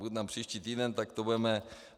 Budu tam příští týden, tak to budeme...